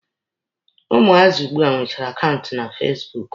Ụmụazị ugbua nwechara akaụntụ na fasibuuku.